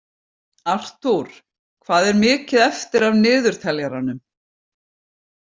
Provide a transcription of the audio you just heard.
Artúr, hvað er mikið eftir af niðurteljaranum?